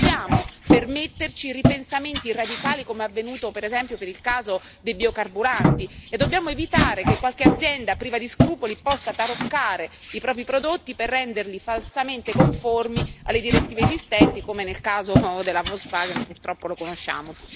Non possiamo permetterci ripensamenti radicali, come è avvenuto, per esempio, per il caso di biocarburanti, e dobbiamo evitare che qualche azienda priva di scrupoli possa taroccare i propri prodotti per renderli falsamente conformi alle direttive esistenti, come nel caso della Volkswagen, che purtroppo conosciamo.